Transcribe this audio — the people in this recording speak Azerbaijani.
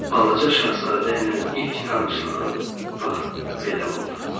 Balaca Şahzadə ilə ilk tanışlığım bax belə oldu.